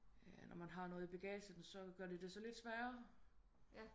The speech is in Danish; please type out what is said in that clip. Når man har noget i bagagen så gør det sig lidt sværre